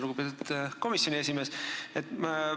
Lugupeetud komisjoni esimees!